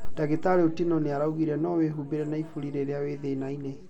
Ndagítariĩ Otieno nĩ araugire no wĩhuumbĩre na ibũri rĩrĩa wĩ thĩnainĩ.